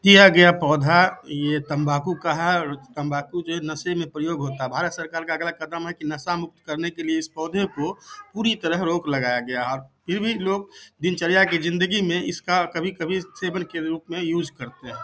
किया गया पौधा ये तंबाकू का है और तंबाकू जो है नशे में प्रयोग होता है। भारत सरकार का अगला कदम है कि नशा मुक्त करने के लिए इस पौधे को पूरी तरह रोक लगाया गया और फिर भी लोग दिनचर्या की जिंदगी में इसका कभी-कभी सेवन के रूप में यूस करते हैं।